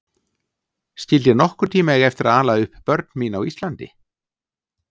Skyldi ég nokkurn tíma eiga eftir að ala upp börn mín á Íslandi?